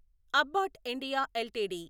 abbot India LTD